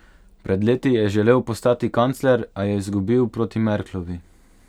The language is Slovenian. Pred leti je želel postati kancler, a je izgubil proti Merklovi.